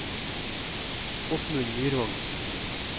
Åsmund Myrvang